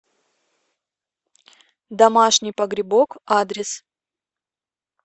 домашний погребок адрес